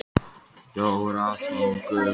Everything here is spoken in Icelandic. Jóra tók um þær með báðum sínum og þrýsti fast.